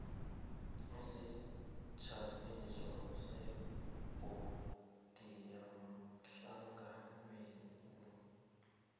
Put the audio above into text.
isijamiso sebhodi yehlanganwenu